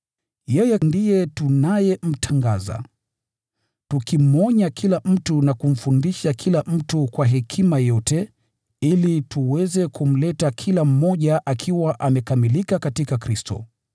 Yeye ndiye tunayemtangaza, tukimwonya kila mtu na kumfundisha kila mtu kwa hekima yote ili tuweze kumleta kila mmoja akiwa amekamilika katika Kristo.